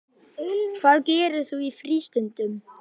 Hvað gerir þú í frístundum?